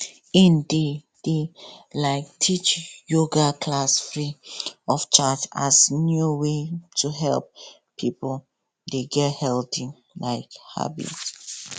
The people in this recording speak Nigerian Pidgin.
e dey dey um teach yoga class free of charge as new way to help pipo dey get healthy um habits